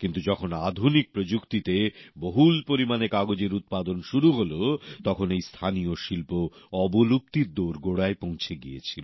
কিন্তু যখন আধুনিক প্রযুক্তিতে বহুল পরিমাণে কাগজের উৎপাদন শুরু হল তখন এই স্থানীয় শিল্প অবলুপ্তির দোরগোড়ায় পৌঁছে গিয়েছিল